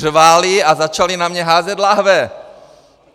Řvali a začali na mě házet láhve!